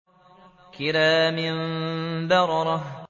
كِرَامٍ بَرَرَةٍ